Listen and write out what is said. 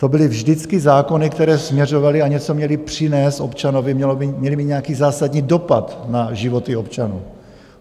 To byly vždycky zákony, které směřovaly a něco měly přinést občanovi, měly mít nějaký zásadní dopad na životy občanů.